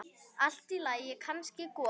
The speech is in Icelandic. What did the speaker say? Allt í lagi, kannski golan.